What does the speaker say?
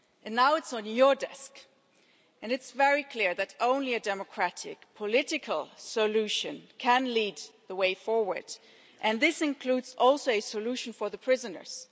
Now the issue is on your desk, and it's very clear that only a democratic political solution can open the way forward, and this includes a solution for the prisoners.